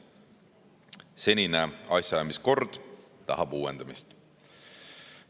Senine asjaajamiskord tahab uuendamist.